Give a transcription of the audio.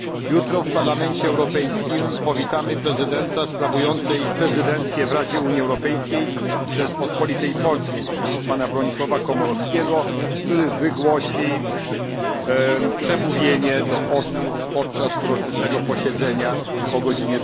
Jutro w Parlamencie Europejskim powitamy prezydenta sprawującej prezydencję w Radzie Unii Europejskiej Rzeczpospolitej Polskiej pana Bronisława Komorowskiego, który wygłosi przemówienie podczas uroczystego posiedzenia o godz.